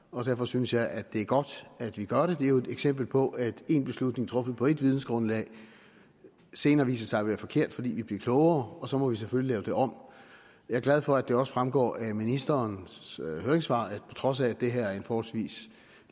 og derfor synes jeg at det er godt at vi gør det det er jo et eksempel på at en beslutning truffet på et vidensgrundlag senere viser sig at være forkert fordi vi bliver klogere og så må vi selvfølgelig lave det om jeg er glad for at det også fremgår af ministerens høringssvar at på trods af at det her er en forholdsvis